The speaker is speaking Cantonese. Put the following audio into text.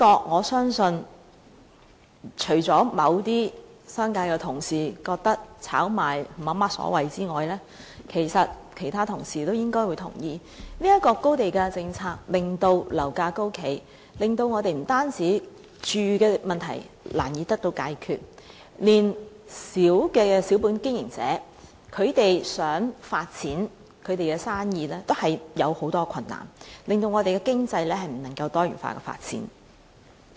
我相信這點除了某些商界的同事認為炒賣沒有所謂外，其他同事其實應會同意高地價政策令樓價高企，不僅令我們的居住問題難以得到解決，連微小的小本經營者想發展其生意也面對很多困難，使我們的經濟未能多元化發展。